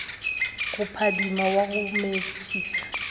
go phadima wa go metšiša